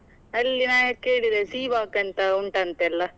ಅಲ್ಲಿ ನಾ ಕೇಳಿದೆ Seawalk ಅಂತ ಉಂಟಂತೆಲ್ಲಾ?